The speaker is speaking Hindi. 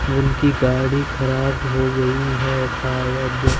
उनकी गाड़ी खराब हो गई है शायद--